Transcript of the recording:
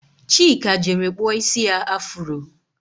Chika jere kpụọ isi ya afuro